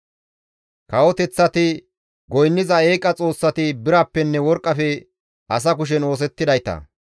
Kawoteththati goynniza eeqa xoossati birappenne worqqafe asa kushen oosettidayta.